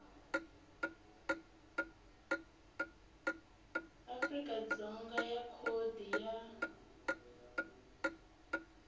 afrika dzonga ya khodi ya